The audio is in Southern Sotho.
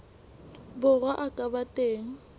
borwa a ka ba teng